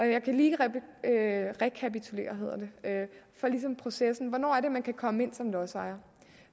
jeg kan lige rekapitulere processen for hvornår man kan komme ind som lodsejer